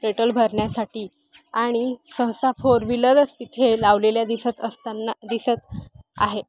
Petrol भरण्यासाठी आणि सहसा फोर विलर स तिथे लावलेल्या दिसत असतांना दिसत आहे.